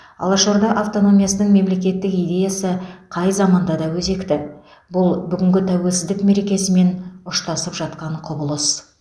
алаш орда автономиясының мемлекеттік идеясы қай заманда да өзекті бұл бүгінгі тәуелсіздік мерекесімен ұштасып жатқан құбылыс